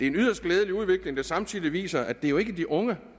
en yderst glædelig udvikling der samtidig viser at det jo ikke er de unge